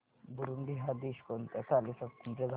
Burundi हा देश कोणत्या साली स्वातंत्र्य झाला